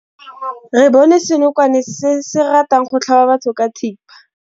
Re bone senokwane se se ratang go tlhaba batho ka thipa.